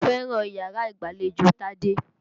Mo fẹ́ràn yàrá ìgbàlejò Tádé.